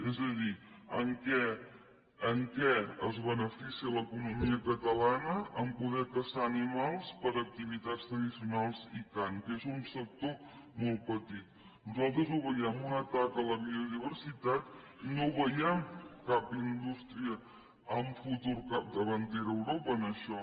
és a dir en què es beneficia l’economia catalana en poder caçar animals per a activitats tradicionals i cant que és un sector molt petit nosaltres ho veiem un atac a la biodiversitat no hi veiem cap indústria amb futur capdavantera a europa en això